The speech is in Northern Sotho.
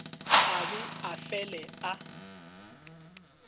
a be a fele a